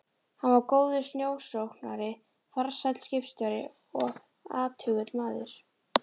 Hann var góður sjósókn- ari, farsæll skipstjóri og athugull maður.